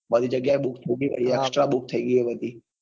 બધી જગ્યાએ extra book થઇ ગઈ હોય બધી.